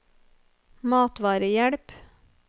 matvarehjelp